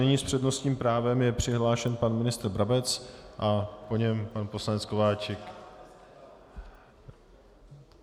Nyní s přednostním právem je přihlášen pan ministr Brabec a po něm pan poslanec Kováčik.